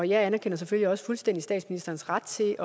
jeg anerkender selvfølgelig også fuldstændig statsministerens ret til